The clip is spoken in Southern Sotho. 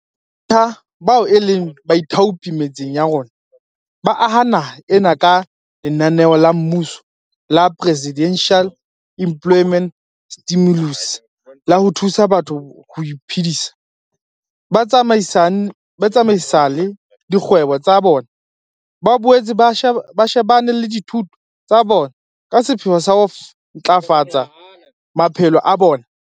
Ke batjha bao e leng baithaopi metseng ya rona, ba aha naha ena ka lenaneo la mmuso la Presidential Employment Stimulus la ho thusa batho ho iphedisa, ba tsamaisale dikgwebo tsa bona, ba boetse ba shebane le dithuto tsa bona ka sepheo sa ho ntlafafatsa maphelo a bona.